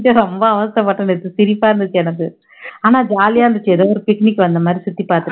ரொம்ப அவஸ்தை பட்டேன் நேத்து, சிரிப்பா இருந்துச்சு எனக்கு ஆனா jolly ஆ இருந்துச்சு ஏதோ ஒரு picnic வந்த மாதிரி சுத்தி பாத்துட்டு